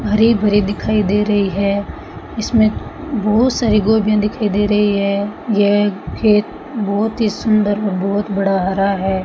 हरे भरे दिखाई दे रही है इसमें बहुत सारे गोभियां दिखाई दे रही है यह खेत बहुत ही सुंदर और बहुत बड़ा हरा है।